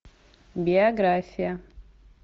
биография